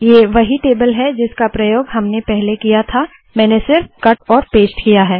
ये वही टेबल है जिसका प्रयोग हमने पहले किया था मैंने सिर्फ कट और पेस्ट किया है